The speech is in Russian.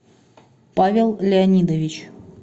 павел леонидович